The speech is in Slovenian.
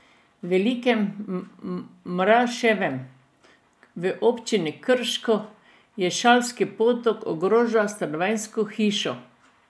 V Velikem Mraševem, v občini Krško, Jelšanski potok ogroža stanovanjsko hišo.